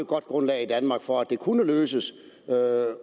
godt grundlag i danmark for at det kunne løses